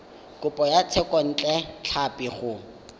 kopo ya thekontle tlhapi go